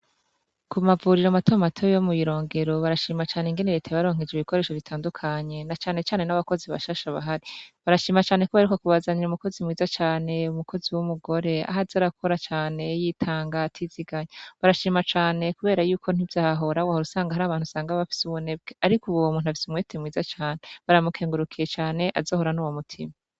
Kumavuriro matomato yo mwirongero barashima cane ingene reta yabaronkeje ibikoresho bitandukanye na cane cane nabakozi bashasha bahari barashima cane ko baheruka bubazanira numukozi mwiza cane umukozi wumugore aza arakora cane yitanga atiziganya barashima cane kubera yuko wasanga bafise ubunebwe ariko uwomuntu umwete mwiza cane baramukengurukiye cane azohorane aze ahorane uwo mutima